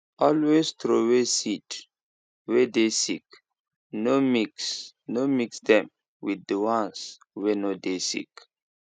always throway seed way dey sick no mix no mix dem with the ones way no dey sick